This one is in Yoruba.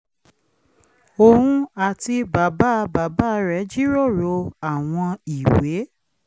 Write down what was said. òun àti bàbá bàbá rẹ̀ jíròrò àwọn ìwé